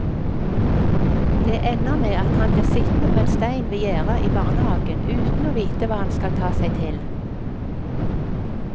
Det ender med at han blir sittende på en stein ved gjerde i barnehagen uten å vite hva han skal ta seg til.